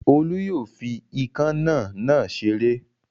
Olú yóò fi ikán náà náà ṣeré.